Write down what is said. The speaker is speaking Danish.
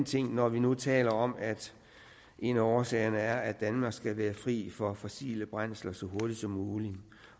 ting når vi nu taler om at en af årsagerne er at danmark skal være fri for fossile brændsler så hurtigt som muligt